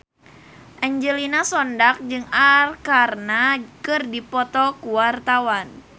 Angelina Sondakh jeung Arkarna keur dipoto ku wartawan